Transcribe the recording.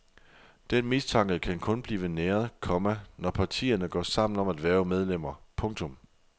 Den mistanke kan kun blive næret, komma når partierne går sammen om at hverve medlemmer. punktum